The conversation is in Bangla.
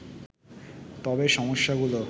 তবে সমস্যাগুলো